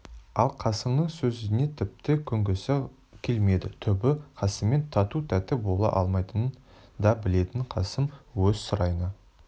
ал қасымның сөзіне тіпті көнгісі келмеді түбі қасыммен тату-тәтті бола алмайтынын да білетін қасым өз сарайына